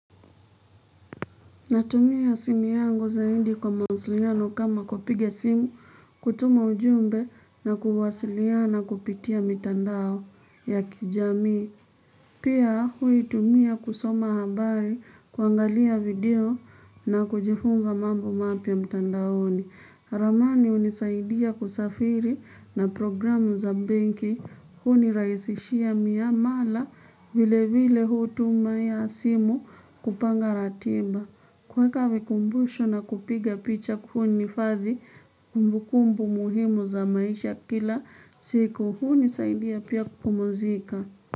Natumia simu yangu zaindi kwa mawasiliano kama kupiga simu, kutuma ujumbe na kuwasiliana kupitia mitandao ya kijamii. Pia huitumia kusoma habari, kuangalia video na kujifunza mambo mapya mtandaoni. Ramani unisaidia kusafiri na programu za benki, huniraisishia miamala vile vile hutuma ya asimu kupanga ratiba. Kuweka vikumbushu na kupiga picha kunihifadhi, kumbukumbu muhimu za maisha kila siku, hunisaidia pia kupumzika.